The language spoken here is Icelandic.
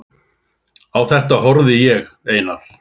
Á þetta horfði ég, Einar